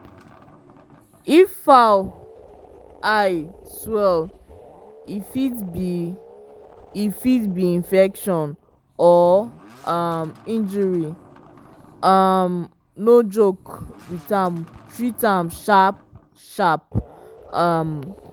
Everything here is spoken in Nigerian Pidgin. if fowl eye swell e fit be e fit be infection or um injury um no joke with am treat am sharp-sharp. um